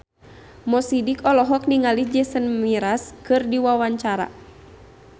Mo Sidik olohok ningali Jason Mraz keur diwawancara